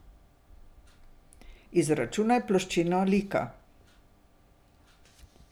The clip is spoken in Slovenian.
Izračunaj ploščino lika.